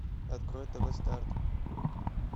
открой тв старт